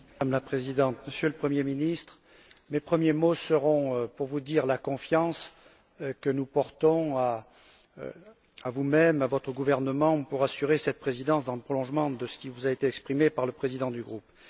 Madame la Présidente, Monsieur le Premier ministre, mes premiers mots seront pour vous dire la confiance que nous portons à vous même, à votre gouvernement pour assurer cette présidence dans le prolongement de ce qui vous a été exprimé par le président du groupe.